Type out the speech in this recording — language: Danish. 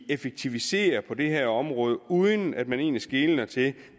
effektivisere på det her område uden at man egentlig skeler til